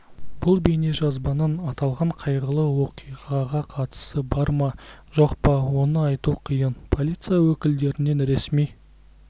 бұл бейнежазбаның аталған қайғылы оқиғаға қатысы бар ма жоқ па оны айту қиын полиция өкілдерінен ресми